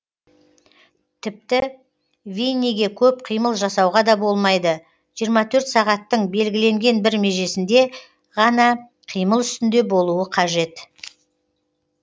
тіпті винниге көп қимыл жасауға да болмайды жиырма төрт сағаттың белгіленген бір межесінде ғана қимыл үстінде болуы қажет